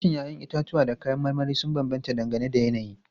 Farashin 'ya'yan itatuwa da kayan marmari sun bambanta dangane da yanayi.